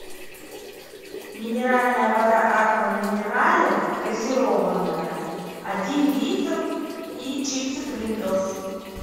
минеральная вода аква минерале газированная один литр и чипсы принглс